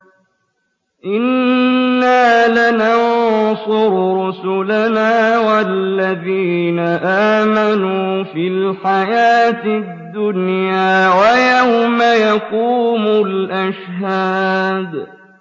إِنَّا لَنَنصُرُ رُسُلَنَا وَالَّذِينَ آمَنُوا فِي الْحَيَاةِ الدُّنْيَا وَيَوْمَ يَقُومُ الْأَشْهَادُ